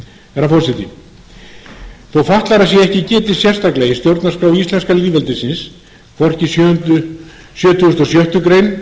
herra forseti þó fatlaðra sé ekki getið sérstaklega í stjórnarskrá íslenska lýðveldisins hvorki í sjötugasta og sjöttu greinar